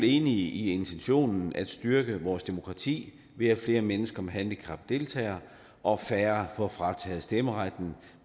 enige i intentionen om at styrke vores demokrati ved at flere mennesker med handicap deltager og færre får frataget stemmeretten